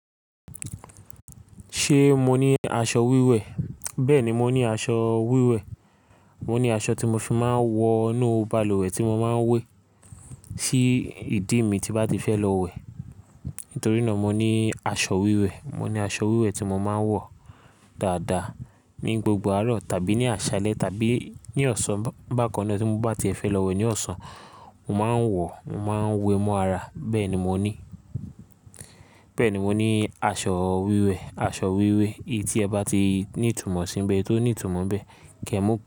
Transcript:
Ṣé mo ní aṣọ wíwẹ̀? Bẹ́ẹ̀ni, mo ní aṣọ wíwẹ̀. Mo ní aṣọ tí mo fi máa ń wọ inú balùwẹ̀ tí mo máa ń wé sí ìdí mi tí bá ti fẹ́ lọ wẹ̀. Nítorí náà mo ní aṣọ wíwẹ̀. Mo ní aṣọ wíwẹ̀ tí mo máa ń wọ dáadáa ní gbogbo àárọ̀ tàbí ní àṣálẹ́ tàbí ní ọ̀sán bákan náà tí mo bá ti ẹ fẹ́ lọ wẹ̀ ní ọ̀sán, mo máa ń wọ, mo máa ń wé mọ́ ara. Bẹ́ẹ̀ni mo ní, bẹ́ẹ̀ni mo ní aṣọ wíwẹ̀, aṣọ wíwẹ̀. I tí ẹ bá ti ní ìtumọ̀ síbẹ̀ tó ní ìtumọ̀ bẹ́ẹ̀, Kẹ́mú pẹ̀.